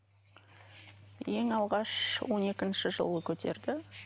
ең алғаш он екінші жылы көтерді